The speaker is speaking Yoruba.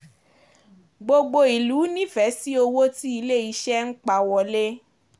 Gbogbo ìlú nífẹ̀ẹ́ sí owó tí ilé-iṣẹ́ ń pa wọlé.